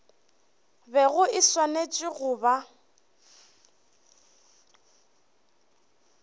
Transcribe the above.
bego e swanetše go ba